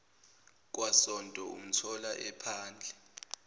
kwasonto umthola ephandle